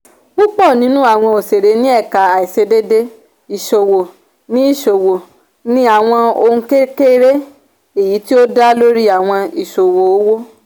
púpọ̀ nínú àwọn òṣeré ní ẹ̀ka àìṣedééé ìṣòwò ni ìṣòwò ni àwọn ohun kékeré èyí tí ó dá lórí àwọn ìṣòwò owó